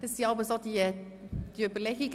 Das sind jeweils so die Überlegungen.